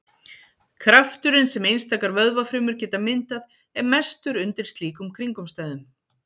Krafturinn sem einstakar vöðvafrumur geta myndað er mestur undir slíkum kringumstæðum.